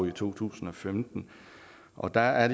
i to tusind og femten og der er